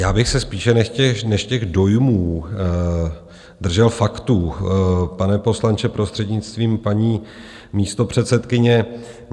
Já bych se spíše než těch dojmů držel faktů, pane poslanče, prostřednictvím paní místopředsedkyně.